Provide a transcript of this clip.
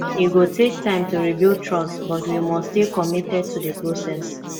e go take time to rebuild trust but we must stay committed to the process